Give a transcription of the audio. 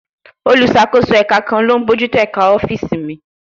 Olùṣàkóso ẹ̀ka kan ló ń bójú tó ẹ̀ka ọ́fíìsì míì